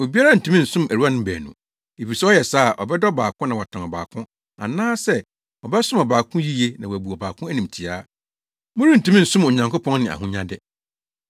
“Obiara ntumi nsom awuranom baanu, efisɛ ɔyɛ saa a, ɔbɛdɔ ɔbaako na watan ɔbaako anaasɛ, ɔbɛsom ɔbaako yiye na wabu ɔbaako animtiaa. Morentumi nsom Onyankopɔn ne ahonyade.